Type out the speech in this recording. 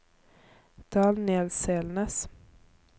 Daniel Selnes